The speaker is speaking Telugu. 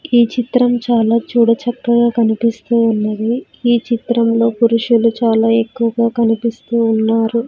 ఈ చిత్రం చాలా చూడ చక్కగా కనిపిస్తూ ఉన్నది ఈ చిత్రంలో పురుషులు చాలా ఎక్కువగా కనిపిస్తూ ఉన్నారు.